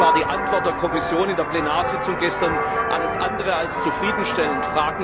Allerdings war die Antwort der Kommission in der Plenarsitzung gestern alles andere als zufriedenstellend.